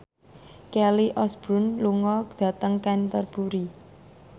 Kelly Osbourne lunga dhateng Canterbury